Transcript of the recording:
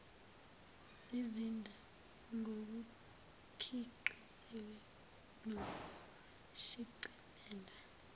zizinda ngokukhiqiziwe nokushicilelwe